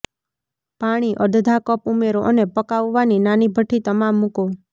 પાણી અડધા કપ ઉમેરો અને પકાવવાની નાની ભઠ્ઠી તમામ મૂકો